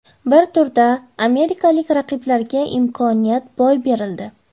Bir turda amerikalik raqiblarga imkoniyat boy berildi.